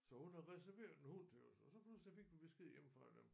Så hun har reserveret en hund til os og så pludselig fik vi besked hjemme fra dem